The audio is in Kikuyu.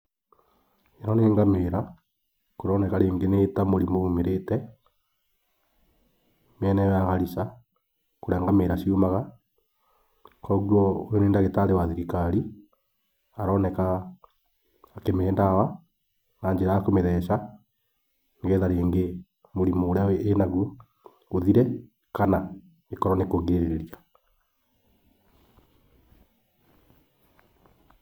Ĩno nĩ ngamĩra kũroneka rĩngĩ nĩ ta mũrimũ umĩrĩte mĩena ĩo ya Garissa kũrĩa ngamĩra ciumaga. Koguo nĩ ndagitarĩ wa thirikari aroneka akĩmĩhe ndawa na njĩra ya kũmĩtheca, nĩgetha rĩngĩ mũrimũ ũrĩa ĩnaguo ũthire kana ĩkorwo nĩ kũgirĩrĩria.